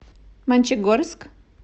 мончегорск